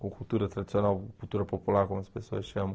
Com cultura tradicional, cultura popular, como as pessoas chamam.